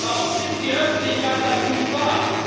Warum nimmt die Öffentlichkeit das nicht wahr?